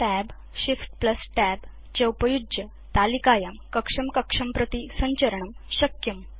Tab ShiftTab च उपयुज्य तालिकायां कक्षं कक्षं प्रति संचरणं शक्यम्